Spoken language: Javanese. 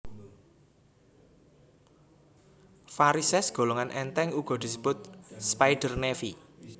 Varisès golongan èntèng uga disebut spider navy